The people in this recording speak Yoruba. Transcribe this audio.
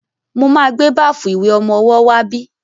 Mo máa gbé báfù ìwẹ̀ ọmọwọ́ wá bí.